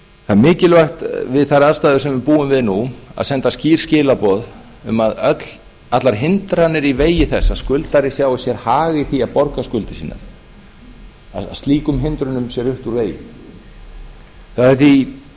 það er mikilvægt við þær aðstæður sem við búum við nú að senda skýr skilaboð um að öllum hindrunum í vegi þess að skuldari sjái sér hag í því að borga skuldir sínar sé rutt úr vegi það er